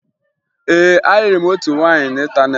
Ee, ayịrị m otu nwaanyị n'ịntaneetị